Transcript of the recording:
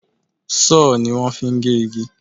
Sọ́họ̀ ni wón fi ń gé igi.